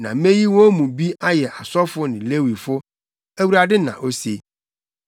Na meyi wɔn mu bi ayɛ asɔfo ne Lewifo,” Awurade, na ose!